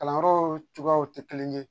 Kalanyɔrɔw cogoyaw tɛ kelen ye